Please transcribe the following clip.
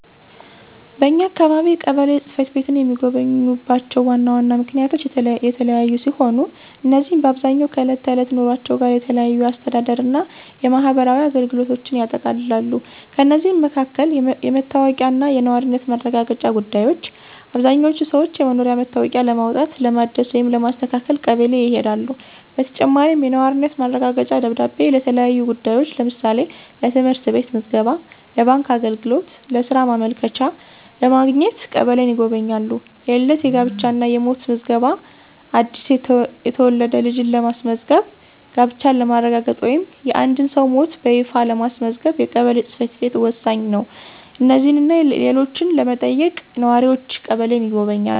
በኛ አካባቢ ቀበሌ ጽ/ቤትን የሚጎበኙባቸው ዋና ዋና ምክንያቶች የተለያዩ ሲሆኑ፣ እነዚህም በአብዛኛው ከዕለት ተዕለት ኑሯቸው ጋር የተያያዙ የአስተዳደር እና የማህበራዊ አገልግሎቶችን ያጠቃልላሉ። ከእነዚህም መካከል: * የመታወቂያ እና የነዋሪነት ማረጋገጫ ጉዳዮች: አብዛኛዎቹ ሰዎች የመኖሪያ መታወቂያ ለማውጣት፣ ለማደስ ወይም ለማስተካከል ቀበሌ ይሄዳሉ። በተጨማሪም፣ የነዋሪነት ማረጋገጫ ደብዳቤ ለተለያዩ ጉዳዮች (ለምሳሌ: ለትምህርት ቤት ምዝገባ፣ ለባንክ አገልግሎት፣ ለሥራ ማመልከቻ) ለማግኘት ቀበሌን ይጎበኛሉ። * የልደት፣ የጋብቻ እና የሞት ምዝገባ: አዲስ የተወለደ ልጅን ለማስመዝገብ፣ ጋብቻን ለማረጋገጥ ወይም የአንድን ሰው ሞት በይፋ ለማስመዝገብ የቀበሌ ጽ/ቤት ወሳኝ ነው። እነዚህንና ሌሎችን ለመጠየቅ ነዋሪዎች ቀበሌን ይጎበኛሉ።